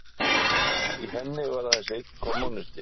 Í henni var aðeins einn kommúnisti